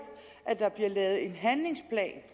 at der bliver lavet en handlingsplan